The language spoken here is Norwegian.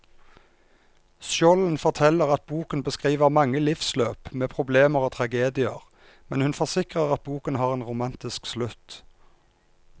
Skjolden forteller at boken beskriver mange livsløp med problemer og tragedier, men hun forsikrer at boken har en romantisk slutt.